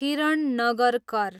Kiran Nagarkar